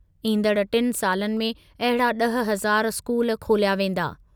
ईंदड़ टिनि सालनि में अहिड़ा ॾह हज़ार स्कूल खोलिया वेंदा।